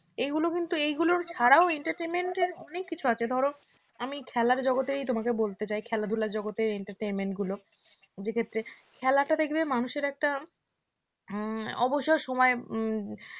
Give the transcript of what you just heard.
এগুলো কিন্তু এগুলো ছাড়াও entertainment এর অনেক কিছু আছে ধরো আমি খেলার জগতে তোমাকে বলতে চাই, খেলাধুলার জগতে entertainment গুলো ক্ষেত্রে খেলাটা দেখবে মানুষের একটা অবসর সময়